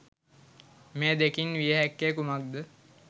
මේ දෙකින් විය හැක්කේ කුමක්ද?